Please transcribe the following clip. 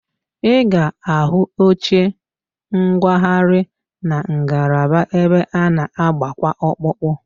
Ị ga-ahụ oche nkwagharị na ngalaba ebe a na- agbakwa ọkpụkpụ